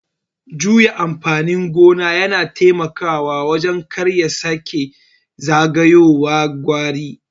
Juya amfanin gona yana taimakawa wajen karya sake zagayowar kwari.